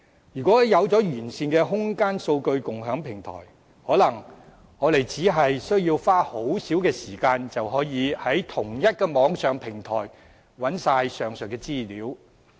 有完善的空間數據共享平台，可能我們只需要花很少時間，便能在同一個平台找到上述全部資料。